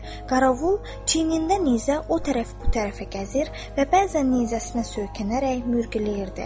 Qarovul çiyinində nizə o tərəf bu tərəfə gəzir və bəzən nizəsinə söykənərək mürgüləyirdi.